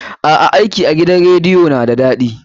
A'a, aiki a gidan rediyo na da daɗi.